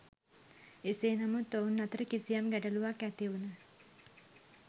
එසේ නමුත් ඔවුන් අතර කිසියම් ගැටලුවක් ඇතිවුණ